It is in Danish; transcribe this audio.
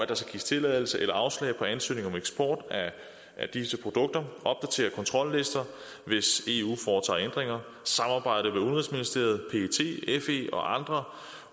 der skal gives tilladelse eller afslag på ansøgninger om eksport af disse produkter opdatere kontrollister hvis eu foretager ændringer samarbejde med udenrigsministeriet pet fe og andre